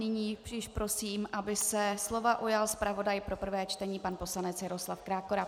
Nyní již prosím, aby se slova ujal zpravodaj pro prvé čtení pan poslanec Jaroslav Krákora.